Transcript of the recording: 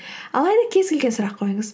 алайда кез келген сұрақ қойыңыз